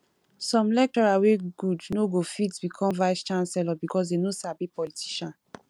some lecturer wey good no go fit become vice chancellor because they no sabi politician